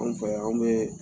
An fɛ yan an bɛ